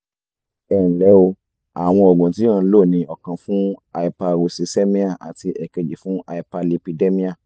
ẹ nlẹ́ o àwọn oògùn tí o ń lò ni ọ̀kan fún hyperuricemia àti èkejì fún hyperlipidemia